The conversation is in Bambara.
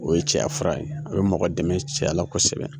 O ye cɛya fura ye, a bɛ mɔgɔ dɛmɛ cɛya fura la kosɛbɛ.